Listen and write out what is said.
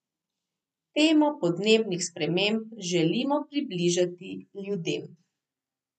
Temo podnebnih sprememb želimo približati ljudem.